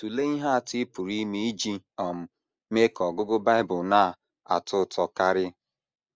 Tụlee ihe atọ ị pụrụ ime iji um mee ka ọgụgụ Bible na - atọ ụtọ karị.